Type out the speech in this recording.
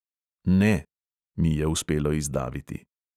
"Ne …" mi je uspelo izdaviti.